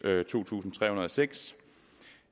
to tusind tre hundrede og seks